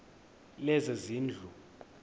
lezezindlu